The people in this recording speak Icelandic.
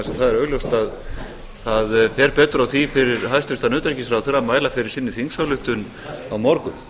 að það er augljóst að það fer betur á því fyrir hæstvirtan utanríkisráðherra að mæla fyrir sinni þingsályktun á morgun